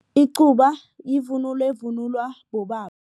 Icuba yivunulo evunulwa bobaba.